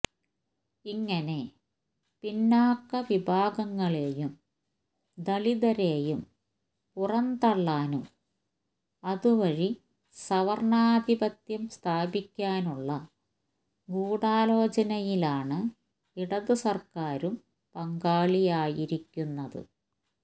ഇങ്ങനെ പിന്നാക്ക വിഭാഗങ്ങളെയും ദലിതരെയും പുറം തള്ളാനും അത് വഴി സവര്ണാധിപത്യം സ്ഥാപിക്കാനുള്ള ഗൂഢാലോചനയിലാണ് ഇടത് സര്ക്കാരും പങ്കാളിയായിരിക്കുന്നത്